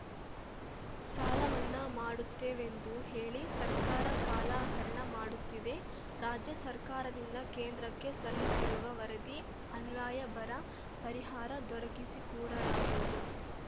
ಸಾಲಮನ್ನಾ ಮಾಡುತ್ತೇವೆಂದು ಹೇಳಿ ಸರ್ಕಾರ ಕಾಲಹರಣ ಮಾಡುತ್ತಿದೆ ರಾಜ್ಯಸರ್ಕಾರದಿಂದ ಕೇಂದ್ರಕ್ಕೆ ಸಲ್ಲಿಸಿರುವ ವರದಿ ಅನ್ವಯ ಬರ ಪರಿಹಾರ ದೊರಕಿಸಿಕೂಡಲಾಗುವುದು